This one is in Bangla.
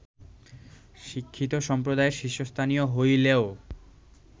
শিক্ষিত সম্প্রদায়ের শীর্ষস্থানীয় হইলেও